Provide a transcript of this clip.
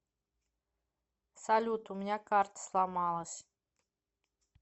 салют у меня карта сломалась